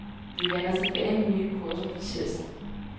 Vi vender tilbage med nye kurser på tirsdag.